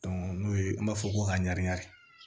n'o ye an b'a fɔ ko a